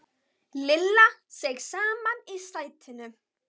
Lilla seig saman í sætinu.